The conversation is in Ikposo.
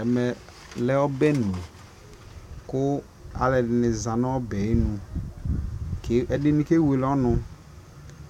ɛmɛ lɛ ɔbɛli kʋ alʋɛdini zanʋ ɔbɛ ayinʋ, ɛdini kɛ wɛlɛ ɔnʋ,